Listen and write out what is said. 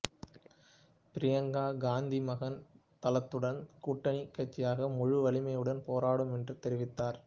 பிரியங்கா காந்தி மகான் தளத்துடன் கூட்டணிக் கட்சியாக முழு வலிமையுடன் போராடும் என்று தெரிவித்தார்